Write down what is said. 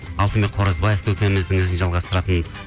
алтынбек қоразбаев көкеміздің ізін жалғастыратын